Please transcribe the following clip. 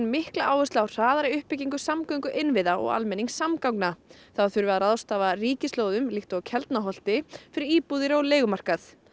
mikla áherslu á hraðari uppbyggingu samgönguinnviða og almenningssamgangna þá þurfi að ráðstafa líkt og Keldnaholti fyrir íbúðir og leigumarkað